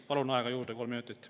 Palun aega juurde kolm minutit.